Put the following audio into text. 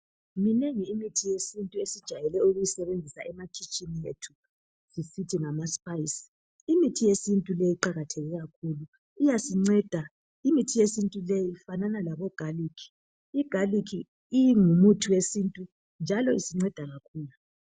Minengi imithi yesintu esijayele ukuyisebenzisa emakhitshini ethu sisithi ngama spice . Imithi yesintu leyi iqakatheke kakhulu Iyasinceda . Imithi yesintu leyi ifanana llabo garlic .Igarlic ingumuthi wesintu njalo isinceda kakhulu .